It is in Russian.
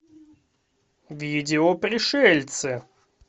видео пришельцы